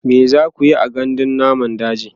me zakuyi a gandun namun daji?